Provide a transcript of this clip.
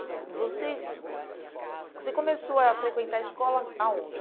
vocês, você começou a frequentar escola aonde?